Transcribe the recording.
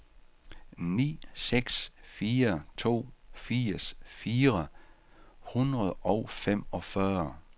ni seks fire to firs fire hundrede og femogfyrre